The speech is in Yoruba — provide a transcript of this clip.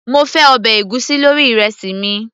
mo fẹ́ ọbẹ̀ ègúsí lórí ìrẹsì mi